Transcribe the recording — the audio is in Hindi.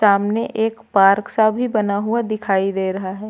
सामने एक पार्क सा भी बना हुआ दिखाई दे रहा है।